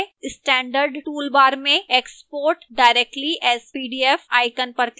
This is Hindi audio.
standard toolbar में export directly as pdf icon पर click करें